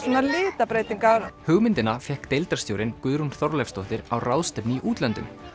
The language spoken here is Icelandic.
litabreytingar hugmyndina fékk deildarstjórinn Guðrún Þorleifsdóttir á ráðstefnu í útlöndum